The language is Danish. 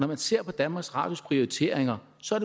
man ser på danmarks radios prioriteringer ser